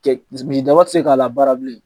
Cɛ misi misi daba tɛ se k'a labaara bilen.